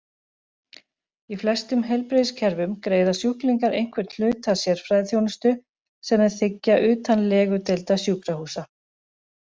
Í flestum heilbrigðiskerfum greiða sjúklingar einhvern hluta sérfræðiþjónustu sem þeir þiggja utan legudeilda sjúkrahúsa.